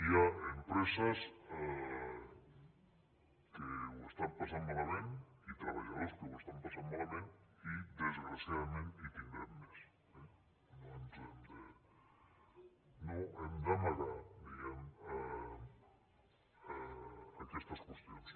hi ha empreses que ho estan passant malament i treballadors que ho estan passant malament i desgraciadament en tindrem més eh no hem d’amagar diguem ne aquestes qüestions